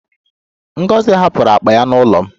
Ngozi hapụrụ akpa ya n'ụlọ m